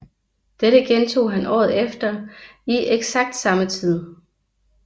Dette gentog han året efter i eksakt samme tid